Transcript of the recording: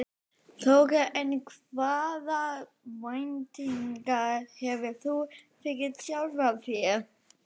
Þóra: En hvaða væntingar hefur þú fyrir sjálfan þig?